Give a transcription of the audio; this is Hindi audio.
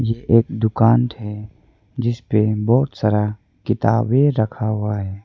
यह एक दुकान है जिसपे बहोत सारा किताबें रखा हुआ है।